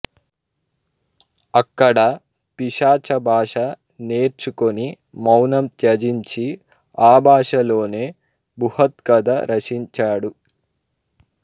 అక్కడ పిశాచ భాష నేర్చుకొని మౌనం త్యజించి ఆ భాషలోనే బృహత్కథ రచించాడు